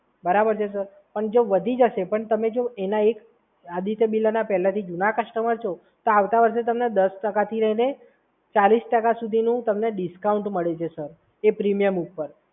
બરાબર છે? અને જો વધી જશે, પણ તમે જો એના એક આદિત્ય બિરલના પહેલેથી જૂના કસ્ટમર છો તો આવતા વર્ષે તમને દસ ટકા ફી એટલે ચાલીસ ટકા સુધીનું ડિસ્કાઉન્ટ મળી જશે સર એ પ્રીમિયમ ઉપર.